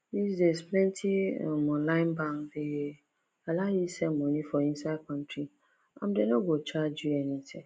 these days plenty um online bank dey allow you send money for inside country and dem no go charge you anything